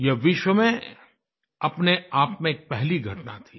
यह विश्व में अपने आप में एक पहली घटना थी